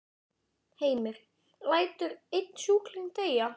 Heimir: Lætur einn sjúkling deyja?